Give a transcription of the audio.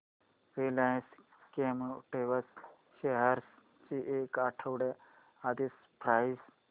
Reliance Chemotex shares ची एक आठवड्या आधीची प्राइस